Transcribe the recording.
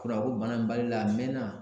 Kuranko bana in b'ale la a mɛɛnna